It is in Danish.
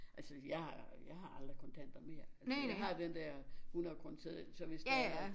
Altså jeg jeg har aldrig kontanter mere jeg har den der hunredekroneseddel så hvis det er at